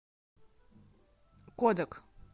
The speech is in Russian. кодак